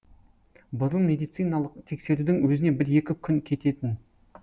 бұрын медициналық тексерудің өзіне бір екі күн кететін